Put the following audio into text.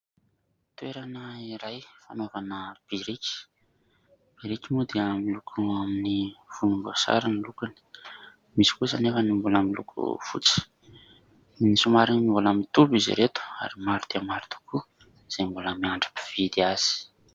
Toerana iray fanaovana biriky. Biriky moa dia miloko amin'ny volomboasary ny lokony misy kosa anefa ny mbola miloko fotsy. Ny somary mbola mitovy izy ireto ary maro dia maro tokoa, izay mbola miandry mpividy azy.